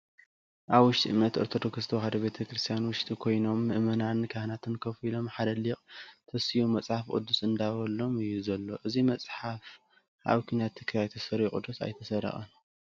ኣብ ውሽጢ እምነት ኦርቶዶክስ ተዋህዶ ቤተ-ክርስትያን ውሽጢ ኮኖም ምእመናን ካህናት ኮፍ ኢሎም ሓደ ሊቅ ተሲኡ መፅሓፍ ቅደዱስ እንዳበበሎም እዩ ዘሎ። እዚ መፅሓፍ ስ ኣብ ኩናት ትግራይ ተደሪቁ ዶስ ኣይተሰረቀን ?